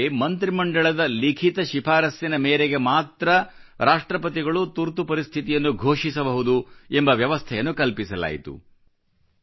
ಮೊದಲ ಬಾರಿಗೆ ಮಂತ್ರಿ ಮಂಡಲದ ಲಿಖಿತ ಶಿಫಾರಸ್ಸಿನ ಮೇರೆಗೆ ಮಾತ್ರ ರಾಷ್ಟ್ರಪತಿಗಳು ತುರ್ತು ಪರಿಸ್ಥಿತಿಯನ್ನು ಘೋಷಿಸಬಹುದು ಎಂಬ ವ್ಯವಸ್ಥೆಯನ್ನು ಕಲ್ಪಿಸಲಾಯಿತು